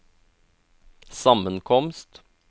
sammenkomst